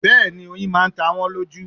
Bẹ́ẹ̀ni oyin máa ta wọ́n lójú